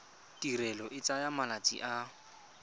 tirelo e tsaya malatsi a